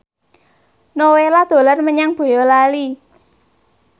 Nowela dolan menyang Boyolali